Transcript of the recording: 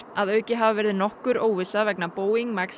að auki hafi verið nokkur óvissa vegna Boeing